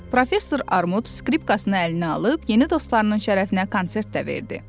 Professor Armud skripkasını əlinə alıb yeni dostlarının şərəfinə konsert də verdi.